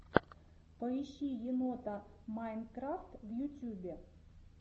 поищи енота майнкрафт в ютьюбе